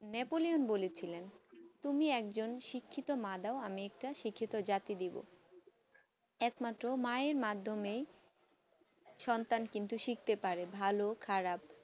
Napoleon বলেছিলেন তুমি একজন শিক্ষিত মা দাও আমি একজন শিক্ষিত জাতি দেব এক মাত্র মায়ের মাধ্যমে সন্তান কিন্তু শিখতে পারে ভালো খারাপ